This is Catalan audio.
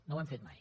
no ho hem fet mai